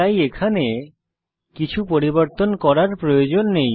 তাই এখানে কিছু পরিবর্তন করার প্রয়োজন নেই